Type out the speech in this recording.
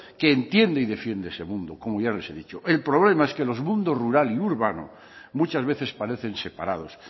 que entiende y defiende ese mundo como ya les he dicho el problema es que los mundos rural y urbano muchas veces parecen separados